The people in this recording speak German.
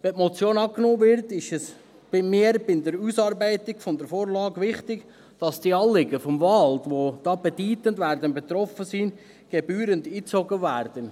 Wenn die Motion angenommen wird, ist es mir bei der Ausarbeitung der Vorlage wichtig, dass die Anliegen des Waldes, die bedeutend betroffen sein werden, gebührend einbezogen werden.